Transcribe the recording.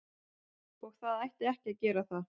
Og það ætti ekki að gera það.